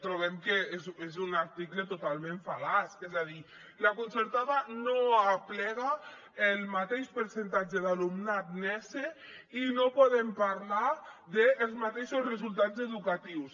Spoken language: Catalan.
trobem que és un article totalment fal·laç és a dir la concertada no aplega el mateix percentatge d’alumnat nese i no podem parlar dels mateixos resultats educatius